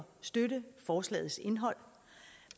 støtte forslagets indhold